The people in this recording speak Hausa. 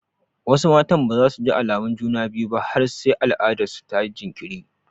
Wasu matan ba za su ji alamun juna biyu ba har sai al'adarsu ta yi jinkiri.